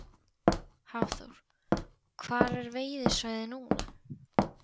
Hafþór: Hvar er veiðisvæðið núna?